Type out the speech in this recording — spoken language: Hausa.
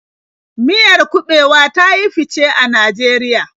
Miyar kuɓewa ta yi fice a Najeriya.